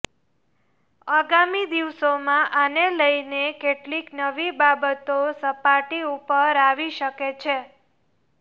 આગામી દિવસોમાં આને લઇને કેટલીક નવી બાબતો સપાટી ઉપર આવી શકે છે